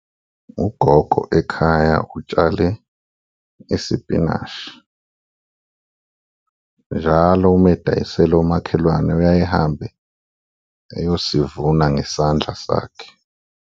Ugogo ekhaya utshale isipinashi, njalo uma edayisela umakhelwane uyaye ehambe eyosivuna ngesandla sakhe.